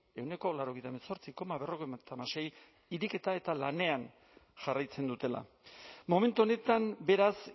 irekita eta lanean jarraitzen dutela momentu honetan beraz